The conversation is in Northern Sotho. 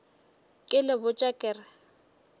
ke le botša ke re